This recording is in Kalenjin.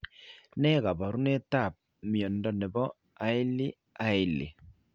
Ne kaabarunetap mnyando ne po Hailey Hailey?